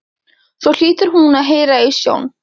Svo hlýtur hún að heyra í sjón